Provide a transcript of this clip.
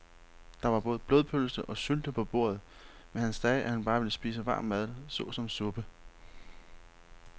Der var både blodpølse og sylte på bordet, men han sagde, at han bare ville spise varm mad såsom suppe.